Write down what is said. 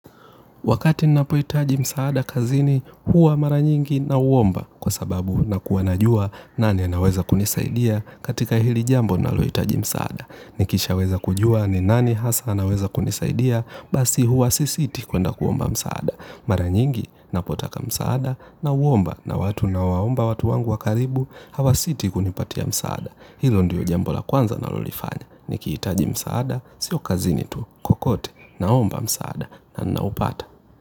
Wakati ninapohitaji msaada kazini huwa mara nyingi nauomba kwa sababu nakuwa najua nani anaweza kunisaidia katika hili jambo ninalohitaji msaada. Nikishaweza kujua ni nani hasa anaweza kunisaidia basi huwa sisiti kwenda kuomba msaada. Mara nyingi ninapotaka msaada nauomba na watu ninaowaomba watu wangu wa karibu hawasiti kunipatia msaada. Hilo ndiyo jambo la kwanza ninalolifanya. Nikihitaji msaada, siyo kazini tu, kokote naomba msaada na ninaupata.